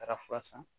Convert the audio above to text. Taara fura san